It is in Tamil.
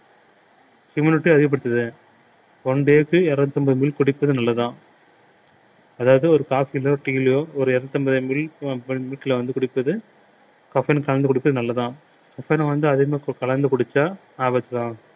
immunity அதிகப்படுத்துது one day க்கு இருநூற்று ஐம்பது milk குடிப்பது நல்லதாம் அதாவது ஒரு coffee லோ tea யிலயோ ஒரு இருநூத்தி ஐம்பது milk ல வந்து குடிப்பது caffeine அ கலந்து குடிப்பது நல்லதுதான் caffeine அதிக அளவு கலந்து குடிச்சா ஆபத்துதான்